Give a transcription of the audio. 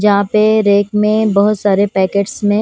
जहां पे रेक में बहुत सारे पैकेट्स में --